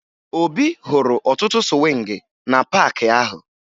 Obi hụrụ ọtụtụ sụwịngị na paakị ahụ